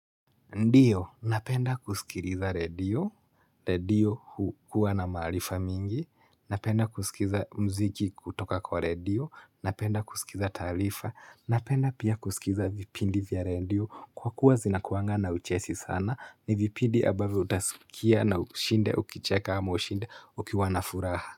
Ndiyo, napenda kusikiriza radio, radio hukuwa na maarifa mingi, napenda kusikiza muziki kutoka kwa radio, napenda kusikiza taarifa, napenda pia kusikiza vipindi vya radio kwa kuwa zinakuangana uchesi sana ni vipindi abazo utaskia na ushinde ukicheka hama ushinde ukiwana furaha.